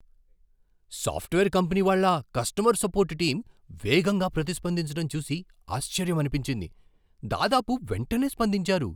Software company వాళ్ళ customer support team వేగంగా ప్రతిస్పందించడం చూసి ఆశ్చర్యమనిపించింది. దాదాపు వెంటనే స్పందించారు!